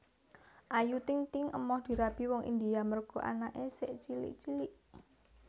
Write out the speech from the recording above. Ayu Ting Ting emoh dirabi wong India merga anak e sik cilik cilik